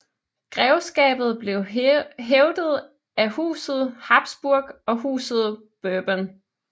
Grevskabet blev hævdet af Huset Habsburg og Huset Bourbon